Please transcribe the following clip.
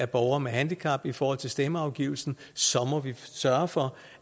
borgere med handicap i forhold til stemmeafgivning må vi sørge for